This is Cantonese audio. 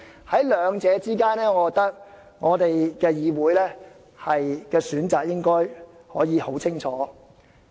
在兩者之間，我認為議會的選擇應該可以很明確。